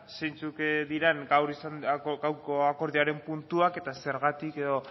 zeintzuk diren gaur izandako gaurko akordioaren puntua eta zergatik edo